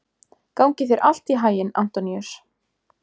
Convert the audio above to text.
Gangi þér allt í haginn, Antoníus.